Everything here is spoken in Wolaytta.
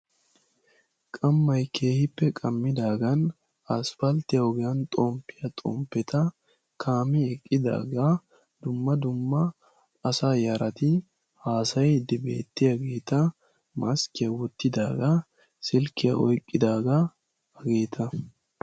Qamay keehippe qammidaagan aspalttiya ogiyaan xomppiya xomppeta kaame eqqidaaga dumma dumma asa yarati haassayide beettiyaageeta maskkiya wottidaaga, silkkiya oyqqidaaga hageeta.